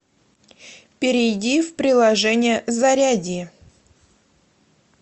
перейди в приложение зарядье